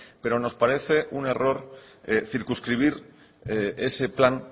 pero nos parece un error circunscribir ese plan